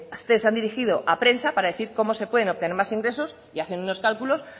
ustedes se han dirigido a prensa para decir cómo se pueden obtener más ingresos y hacen unos cálculos